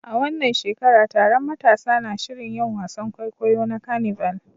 A wannan shekara, taron matasa na shirin yin wasan kwaikwayo na carnival